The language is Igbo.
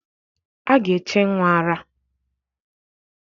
A ga-eche nnwa ara.